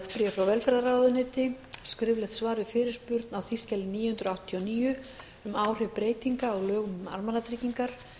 apríl frá velferðarráðuneyti skriflegt svar við fyrirspurn á þingskjali níu hundruð áttatíu og níu um áhrif breytinga á lögum um almannatryggingar